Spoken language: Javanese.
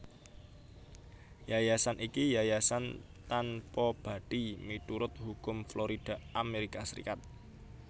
Yayasan iki yayasan tanpabathi miturut hukum Florida Amerika Serikat